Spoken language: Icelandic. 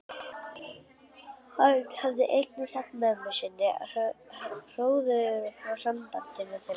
Hann hafði einnig sagt mömmu sinni hróðugur frá sambandi þeirra